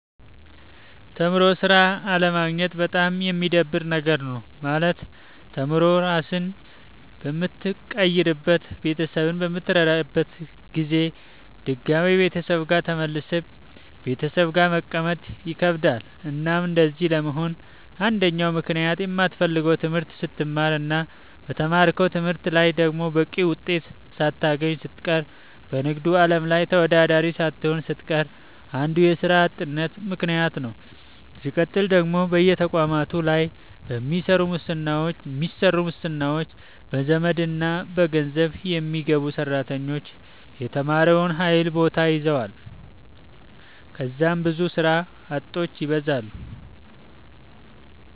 ተምሮ ስራ አለማግኘት በጣም የሚደብር ነገር ነው። ማለት ተምሮ ራስህን በምትቀይርበት ቤተሰብህን በምትረዳበት ጊዜ ድጋሚ ቤተሰብ ጋር ተመልሰህ ቤተሰብ ጋር መቀመጥ ይከብዳል። እናም እንደዚህ ለመሆን አንደኛው ምክንያት የማትፈልገውን ትምህርት ስትማር እና በተማርከው ትምህርት ላይ ደግሞ በቂ ውጤት ሳታገኝ ስትቀር በንግዱ አለም ላይ ተወዳዳሪ ሳትሆን ስትቀር አንዱ የስራ አጥነት ምከንያት ነዉ። ስቀጥል ደግሞ በየተቋማቱ ላይ በሚሰሩ ሙስናዎች፣ በዘመድና በገንዘብ የሚገቡ ሰራተኞች የተማረውን ኃይል ቦታ ይዘዋል ከዛም ብዙ ስራ አጦች ይበዛሉ።